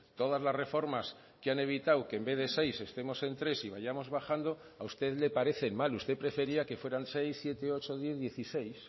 todas las reformas que han evitado que en vez de seis estemos en tres y vayamos bajando a usted le parecen mal usted prefería que fueran seis siete ocho diez dieciséis